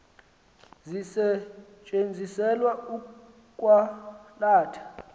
zisetyenziselwa ukwa latha